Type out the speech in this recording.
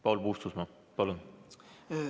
Paul Puustusmaa, palun!